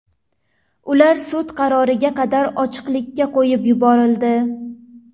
Ular sud qaroriga qadar ochiqlikka qo‘yib yuborildi.